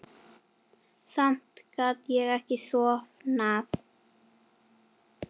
Samt gat ég ekki sofnað.